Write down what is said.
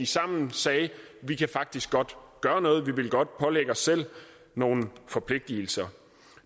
sammen sagde vi kan faktisk godt gøre noget vi vil godt pålægge os selv nogle forpligtelser